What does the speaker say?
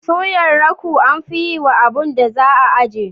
Suyar rakau amfi yiwa abun da za a aje.